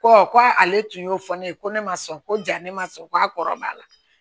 ko ale tun y'o fɔ ne ye ko ne ma sɔn ko ja ne ma sɔn ko a kɔrɔbaya la